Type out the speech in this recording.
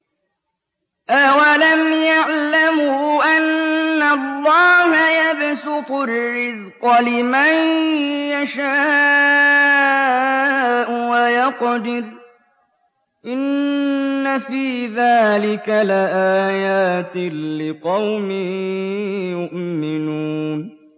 أَوَلَمْ يَعْلَمُوا أَنَّ اللَّهَ يَبْسُطُ الرِّزْقَ لِمَن يَشَاءُ وَيَقْدِرُ ۚ إِنَّ فِي ذَٰلِكَ لَآيَاتٍ لِّقَوْمٍ يُؤْمِنُونَ